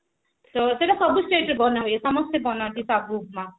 ତ ସେଟା ସବୁ state ରେ ବନା ହୁଏ ସମସ୍ତେ ବନାନ୍ତି ସାଗୁ ଉପମା